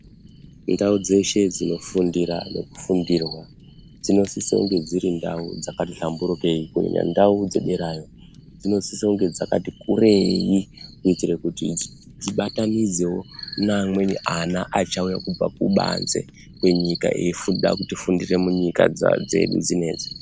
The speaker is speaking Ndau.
Ndau dzeshe dzinofundira nekufundirwa dzinosisa kunge dziri ndau dzakati hlamburukei, kunyanya ndau dzederayo. Dzinosisa kunge dzakati kurei kuitire kuti dzibatanidzewo neamweni ana achauya kubva kubanze kwenyika eida kufundira munyika dzedu dzinedzi.